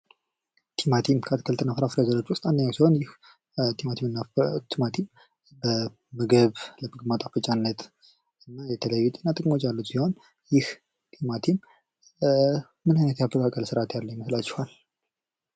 ቲማቲም ከአትክልትና ፍራፍሬ ዘሮች ውስጥ አንዱ ሲሆን ይህ ቲማቲም ምግብ ማጣፈጫነት የተለያዩ የጤና ጥቅሞች ያሉት ሲሆን ይህ ቲማቲም ምን አይነት የአበቃቀል ስርአት ያለው ይመስላችኋል?